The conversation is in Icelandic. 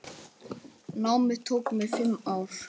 Námið tók mig fimm ár.